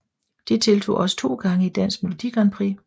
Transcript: De deltog også to gange i Dansk Melodi Grand Prix